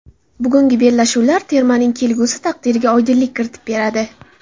Bugungi bellashuvlar termaning kelgusi taqdiriga oydinlik kiritib beradi.